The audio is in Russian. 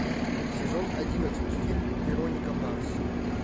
сезон одиннадцать фильм вероника марс